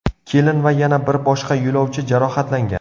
Kelin va yana bir boshqa yo‘lovchi jarohatlangan.